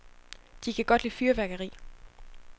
De kan godt lide fyrværkeri.